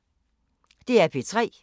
DR P3